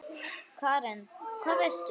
Karen: Hvað veistu?